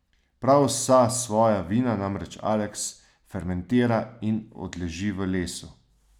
Prav vsa svoja vina namreč Aleks fermentira in odleži v lesu.